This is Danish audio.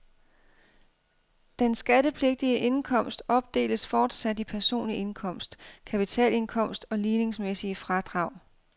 Den skattepligtige indkomst opdeles fortsat i personlig indkomst, kapitalindkomst og ligningsmæssige fradrag.